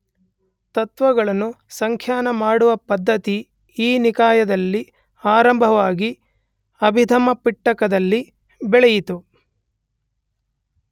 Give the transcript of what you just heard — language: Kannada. ತತ್ತ್ವಗಳನ್ನು ಸಂಖ್ಯಾನ ಮಾಡುವ ಪದ್ಧತಿ ಈ ನಿಕಾಯದಲ್ಲಿ ಆರಂಭವಾಗಿ ಅಭಿದಮ್ಮಪಿಟಕದಲ್ಲಿ ಬೆಳೆಯಿತು.